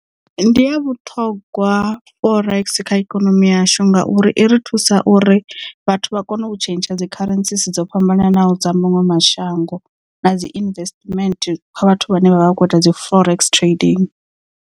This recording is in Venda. Ndi ya vhuṱhongwa forex kha ikonomi yashu ngauri i ri thusa uri vhathu vha kone u tshentsha dzi kharentsi si dzo fhambananaho dza maṅwe mashango na dzi investment kha vhathu vhane vha vha vha kho ita dzi forex trading.